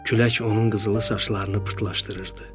Külək onun qızılı saçlarını pırtlaşdırırdı.